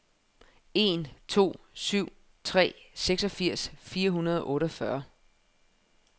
en to syv tre seksogfirs fire hundrede og otteogfyrre